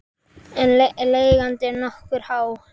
En leigan er nokkuð há.